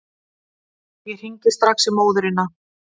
Ég hringi strax í móðurina.